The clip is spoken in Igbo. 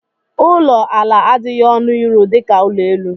Ụlọ ala adịghị ọnụ ịrụ dịka ụlọ elu.